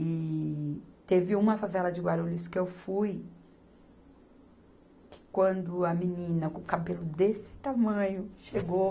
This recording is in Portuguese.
E teve uma favela de Guarulhos que eu fui que quando a menina com o cabelo desse tamanho chegou,